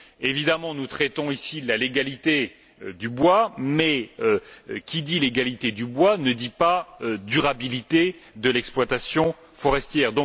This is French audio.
Évidemment, nous traitons ici de la légalité du bois mais qui dit légalité du bois ne dit pas durabilité de l'exploitation forestière.